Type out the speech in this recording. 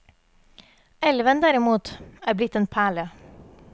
Elven, derimot, er blitt en perle.